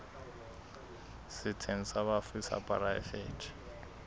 setsheng sa bafu sa poraefete